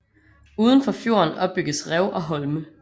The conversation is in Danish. Uden for fjorden opbygges rev og holme